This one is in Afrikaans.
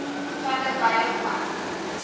vanderbijilpark